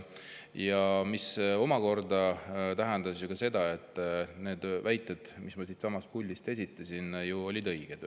See omakorda tähendab ju seda, et need väited, mis ma siitsamast puldist esitasin, olid õiged.